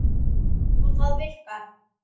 Og það virkar.